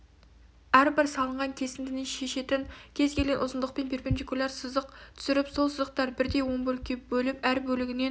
әрбір салынған кесіндінің шешетін кез келген ұзындықпен перпендикуляр сызық түсіріп сол сызықтарды бірдей он бөлікке бөліп әр бөлігінен